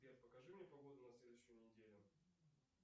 сбер покажи мне погоду на следующую неделю